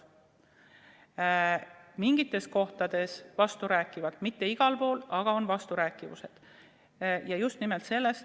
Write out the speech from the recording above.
Need on mingites kohtades vasturääkivad – mitte igal pool, aga siin-seal on vasturääkivusi.